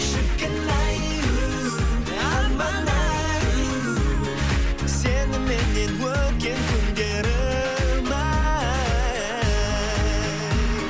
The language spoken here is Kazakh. шіркін ай у арман ай у сеніменен өткен күндерім ай